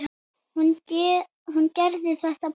Hún gerði þetta bara.